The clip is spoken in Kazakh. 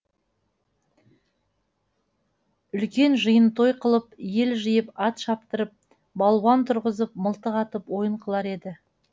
ұлкен жиын той қылып ел жиып ат шаптырып балуан тұрғызып мылтық атып ойын қылар еді